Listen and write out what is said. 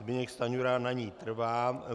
Zbyněk Stanjura na ní trvá.